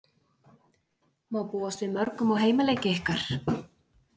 Má búast við mörgum á heimaleiki ykkar?